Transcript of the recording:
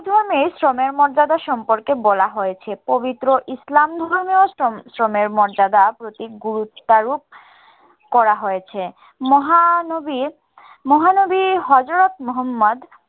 ধর্মেই শ্রমের মর্যাদা সম্পর্কে বলা হয়েছে। পবিত্র ইসলাম ধর্মেও শ্রম শ্রমের মর্যাদার প্রতি গুরুত্বারোপ করা হয়েছে। মহানবী মহানবী হযরত মুহাম্মদ